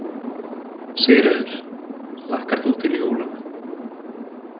Sigríður: Hlakkar þú til jólanna?